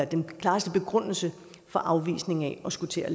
den klareste begrundelse for afvisningen af at skulle til at